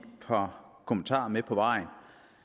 par kommentarer med på vejen